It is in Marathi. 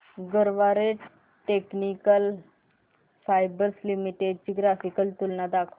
गरवारे टेक्निकल फायबर्स शेअर्स ची ग्राफिकल तुलना दाखव